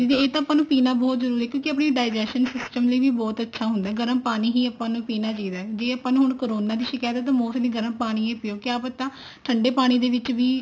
ਇਹ ਤਾਂ ਆਪਾਂ ਨੂੰ ਪੀਣਾ ਬਹੁਤ ਜਰੂਰੀ ਹੈ ਕਿਉਂਕਿ ਆਪਣੇ digestion system ਲਈ ਵੀ ਬਹੁਤ ਅੱਛਾ ਹੁੰਦਾ ਗਰਮ ਪਾਣੀ ਵੀ ਹੀ ਆਪਾਂ ਨੂੰ ਪੀਣਾ ਚਾਹੀਦਾ ਜੇ ਆਪਾਂ ਨੂੰ ਹੁਣ ਕਾਰਨਾ ਦੀ ਸ਼ਿਕਾਇਤ ਹੈ mostly ਗਰਮ ਪਾਣੀ ਹੀ ਪਿਓ ਕਿਆ ਪਤਾ ਠੰਡੇ ਪਾਣੀ ਦੇ ਵਿੱਚ ਵੀ